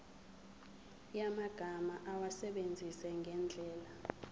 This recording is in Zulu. yamagama awasebenzise ngendlela